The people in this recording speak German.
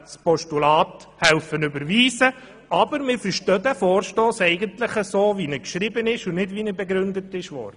Allerdings verstehen wir diesen Vorstoss so, wie er geschrieben ist und nicht so, wie er soeben begründet wurde.